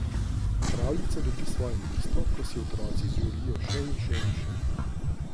Pravljica dobi svoje mesto, ko si otroci želijo še in še in še.